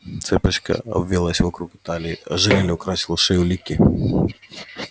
цепочка обвилась вокруг талии ожерелье украсило шею ликии